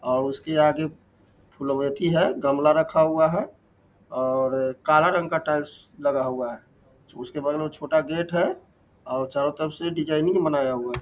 और उसके आगे फुलबेति है गमला रखा हुआ है और काला रंग का टाइल्स लगा हुआ है उसके बाद छोटा गेट है और चारो तरफ से डिज़ाइन ही नहीं मनाया हुआ है ।